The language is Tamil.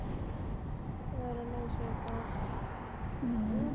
வேற என்ன விசேஷம்? ஹம்